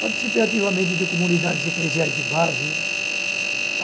Participei ativamente de comunidades eclesiais de base.